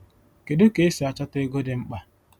Kedu ka esi achọta ego dị mkpa?